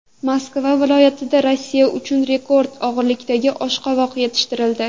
Moskva viloyatida Rossiya uchun rekord og‘irlikdagi oshqovoq yetishtirildi.